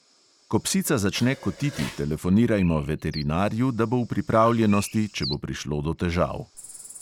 Ko psica začne kotiti, telefonirajmo veterinarju, da bo v pripravljenosti, če bo prišlo do težav.